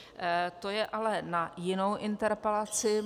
To je ale na jinou interpelaci.